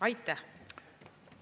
Aitäh!